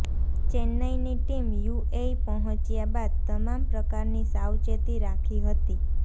ચેન્નઇની team UAE પહોંચ્યા બાદ તમામ પ્રકારની સાવચેતી રાખી હતી